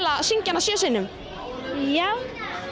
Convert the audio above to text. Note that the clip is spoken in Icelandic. að syngja hana sjö sinnum já